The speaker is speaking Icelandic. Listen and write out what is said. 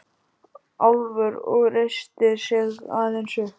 Álfur og reisti sig aðeins upp.